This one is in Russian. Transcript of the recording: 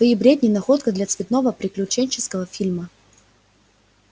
твои бредни находка для цветного приключенческого фильма